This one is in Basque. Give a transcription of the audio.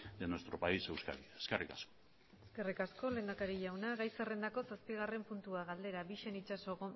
de nuestro país euskadi eskerrik asko eskerrik asko lehendakari jauna gai zerrendako zazpigarren puntua galdera bixen itxaso